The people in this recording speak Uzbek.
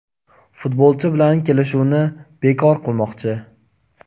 futbolchi bilan kelishuvni bekor qilmoqchi.